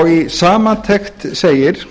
í samantekt segir